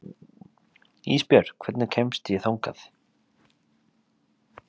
Ísbjört, hvernig kemst ég þangað?